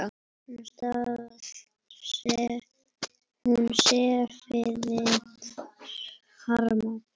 Hún sefaði harma.